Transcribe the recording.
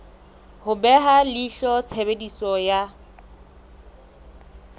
ho beha leihlo tshebediso ya